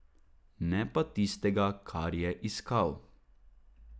Ne pa tistega, kar je iskal.